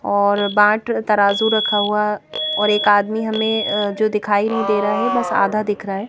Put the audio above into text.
और बाट तराजू रखा हुआ और एक आदमी हमें अ जो दिखाई नही दे रहा है बस आधा दिख रहा है।